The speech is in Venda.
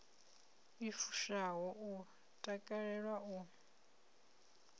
i fushaho u takalela u